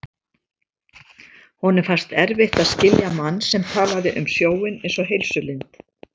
Honum fannst erfitt að skilja mann sem talaði um sjóinn einsog heilsulind.